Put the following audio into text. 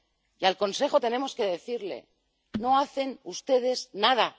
Y al Consejo tenemos que decirle No hacen ustedes nada.